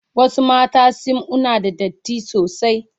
Wasu mata sim una da datti sosai.